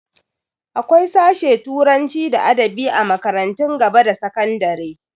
Akwai sashe turanci da adabi a makarantun gaba da sakandare.